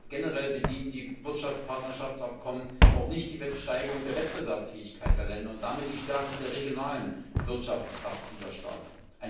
Generell dienen die Wirtschaftspartnerschaftsabkommen auch nicht der Steigerung der Wettbewerbsfähigkeit der Länder und damit der Stärkung der regionalen Wirtschaftskraft dieser Staaten.